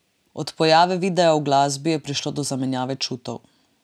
Od pojave videa v glasbi, je prišlo do zamenjave čutov.